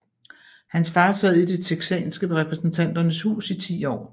Hans far sad i det texanske repræsentanternes hus i 10 år